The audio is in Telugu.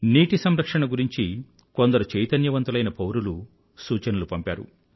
నీటి సంరక్షణ గురించి కొందరు చైతన్యవంతులైన పౌరులు సూచనలు పంపారు